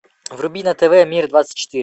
вруби на тв мир двадцать четыре